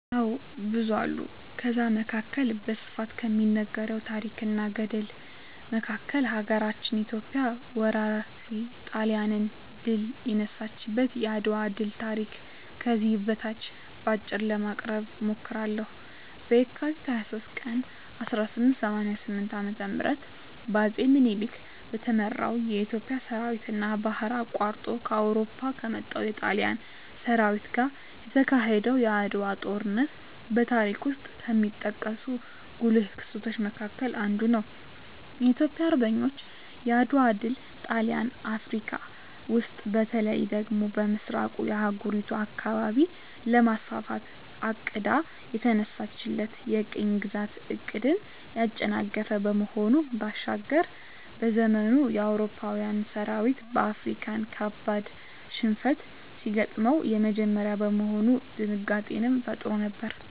አዎ ብዙ አሉ ከዛ መካከል በስፋት ከሚነገረው ታረክ እና ገድል መካከል ሀገራችን ኢትዮጵያ ወራሪ ጣሊያንን ድል የነሳችበት የአድዋ ድል ታሪክ ከዚህ በታች በአጭሩ ለማቅረብ እሞክራለሁ፦ በካቲት 23 ቀን 1888 ዓ.ም በአጼ ምኒልክ በተመራው የኢትዮጵያ ሠራዊትና ባህር አቋርጦ ከአውሮፓ ከመጣው የጣሊያን ሠራዊት ጋር የተካሄደው የዓድዋው ጦርነት በታሪክ ውስጥ ከሚጠቀሱ ጉልህ ክስተቶች መካከል አንዱ ነው። የኢትዮጵያ አርበኞች የዓድዋ ድል ጣሊያን አፍረካ ውስጥ በተለይ ደግሞ በምሥራቁ የአህጉሪቱ አካባቢ ለማስፋፋት አቅዳ የተነሳችለትን የቅኝ ግዛት ዕቅድን ያጨናገፈ ከመሆኑ ባሻገር፤ በዘመኑ የአውሮፓዊያን ሠራዊት በአፍሪካዊያን ካበድ ሽንፈት ሲገጥመው የመጀመሪያ በመሆኑ ድንጋጤንም ፈጥሮ ነበር።